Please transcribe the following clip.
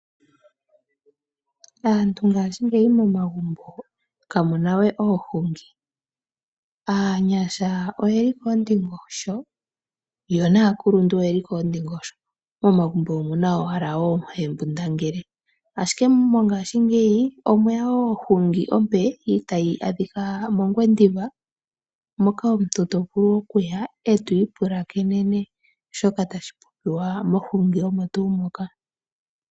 Aantu ngaashingeyi momagumbo kamuna we oohungi aanyasha oyeli koondingosho yo naakuluntu oyeli koondingosho, momagumbo omuna owala oohembundangele ashike mongaashingeyi omweya woo ohungi ompe tayi adhika mOngwediva moka omuntu to vulu okuya, etwii pulakenene shoka tashi popiwa mohungi omo tuu moka.